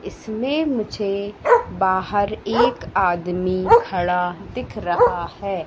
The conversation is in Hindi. इसमें मुझे बाहर एक आदमी खड़ा दिख रहा है।